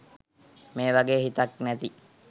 මේ වගේ හිතක් නැති